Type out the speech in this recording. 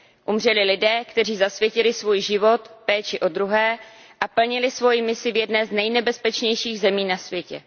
Umřeli lidé, kteří zasvětili svůj život péči o druhé a plnili svoji misi v jedné z nejnebezpečnějších zemí na světě.